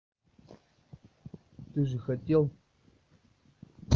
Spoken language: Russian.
ты же хотел